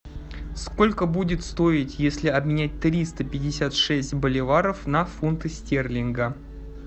сколько будет стоить если обменять триста пятьдесят шесть боливаров на фунты стерлинга